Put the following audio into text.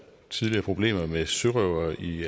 problemer med sørøvere i